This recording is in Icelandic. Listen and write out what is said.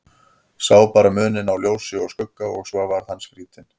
Sá bara muninn á ljósi og skugga og svo varð hann skrítinn.